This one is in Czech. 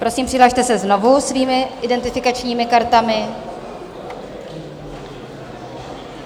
Prosím, přihlaste se znovu svými identifikačními kartami.